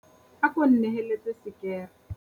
Ako nneheletse sekere.